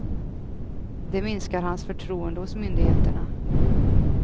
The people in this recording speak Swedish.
Det minskar hans förtroende hos myndigheterna.